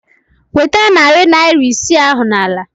Nweta narị naira isii ahụ n'ala!